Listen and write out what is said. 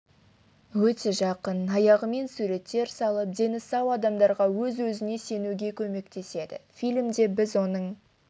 өте жақын аяғымен суреттер салып дені сау адамдарға өз-өзіне сенуге көмектеседі фильмде біз оның